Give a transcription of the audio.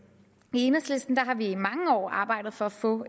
i enhedslisten har vi i mange år arbejdet for at få